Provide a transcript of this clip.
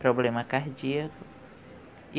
problema cardíaco.